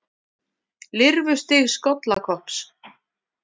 Lirfustig skollakopps.